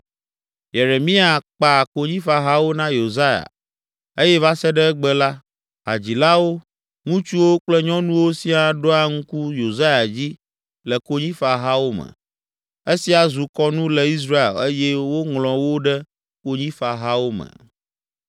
Yeremia kpa konyifahawo na Yosia eye va se ɖe egbe la, hadzilawo, ŋutsuwo kple nyɔnuwo siaa ɖoa ŋku Yosia dzi le konyifahawo me. Esia zu kɔnu le Israel eye woŋlɔ wo ɖe Konyifahawo me.